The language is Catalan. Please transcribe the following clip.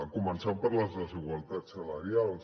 començant per les desigualtats salarials